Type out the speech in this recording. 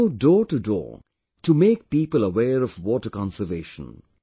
They go doortodoor to make people aware of water conservation